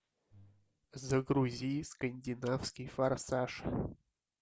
загрузи скандинавский форсаж